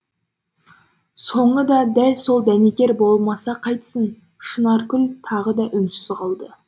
соңы да сол дәнекер болмаса қайтсін шынаркүл тағы да үнсіз қалды